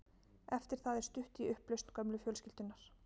Eftir það er stutt í upplausn gömlu fjölskyldunnar.